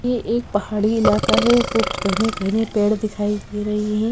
ये एक पहाड़ी इलाका है घने घने पेड़ दिखाई दे रहे हैं।